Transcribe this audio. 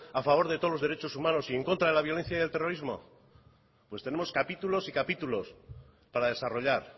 a favor de todos los derechos humanos y en contra de la violencia y el terrorismo pues tenemos capítulos y capítulos para desarrollar